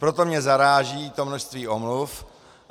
Proto mě zaráží to množství omluv.